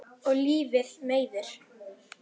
Og lífið meiðir.